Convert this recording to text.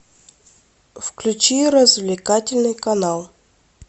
включи развлекательный канал